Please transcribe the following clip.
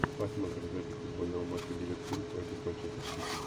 посмотрим запись футбольного матча ливерпуль против манчестер сити